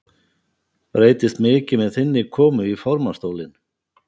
Breytist mikið með þinni komu í formannsstólinn?